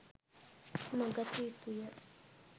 නොගත යුතුය.